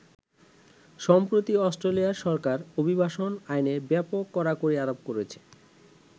সম্প্রতি অষ্ট্রেলিয়ার সরকার অভিবাসন আইনে ব্যাপক কড়াকড়ি আরোপ করেছে।